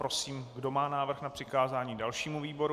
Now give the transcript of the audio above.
Prosím, kdo má návrh na přikázání dalšímu výboru?